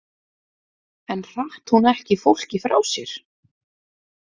En hratt hún ekki fólki frá sér?